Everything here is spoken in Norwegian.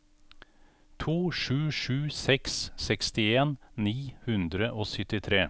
to sju sju seks sekstien ni hundre og syttitre